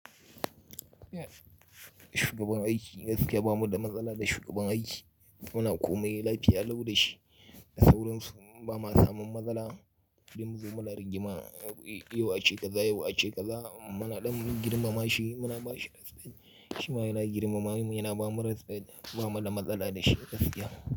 Shugaban aiki, gaskiya bamu da matsala da shugaban aiki. Muna komai lafiya lau da shi. Da sauran su ba ma samun matsala. Duk mu zo muna rigima, yau a ce kaza, yau a ce kaza. Muna ɗan girmama shi, muna ba shi resfect. Shi ma yayi girmamawa mu, yana ba mu resfect. Ba mu da matsala da shi gaskiya.